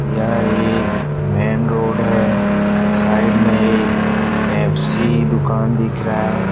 यह एक main road है साइड में एक पेप्सी दुकान दिख रहा है।